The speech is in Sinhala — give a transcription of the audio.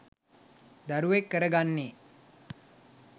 දරුවෙක් කර ගන්නේ.